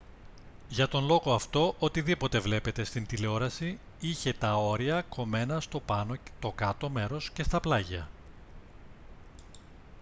για τον λόγο αυτό οτιδήποτε βλέπετε στην τηλεόραση είχε τα όρια κομμένα στο πάνω το κάτω μέρος και στα πλάγια